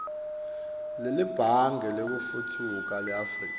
nelibhange lekutfutfukisa leafrika